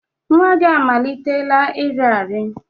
Nwa gị amalitela iri arị?